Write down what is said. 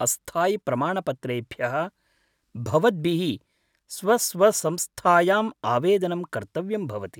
अस्थायिप्रमाणपत्रेभ्यः भवद्भिः स्वस्वसंस्थायाम् आवेदनं कर्तव्यं भवति।